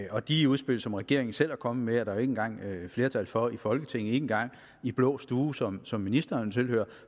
og de udspil som regeringen selv er kommet med er der jo ikke engang flertal for i folketinget ikke engang i blå stue som som ministeren tilhører